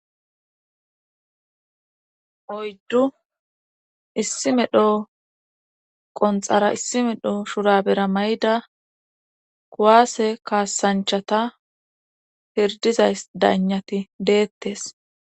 oyddu issi medho qonxara issi medho shura bera mayda kuwaase kaasanchata pirdiza daynati deettes